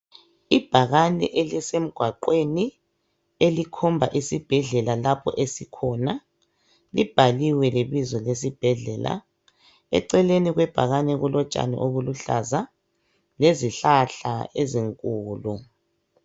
Ibhakane elisemgwaqweni elikhomba isibhedlela lapho esikhona. Libhaliwe lebizo lesibhedlela .Eceleni kwebhakani kulotshani obuluhlaza lezihlahla ezinkulu.